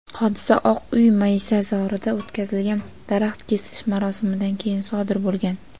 hodisa Oq uy maysazorida o‘tkazilgan daraxt ekish marosimidan keyin sodir bo‘lgan.